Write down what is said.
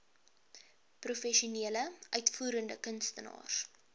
professionele uitvoerende kunstenaars